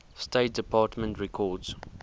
state department records